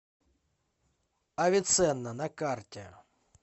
авиценна на карте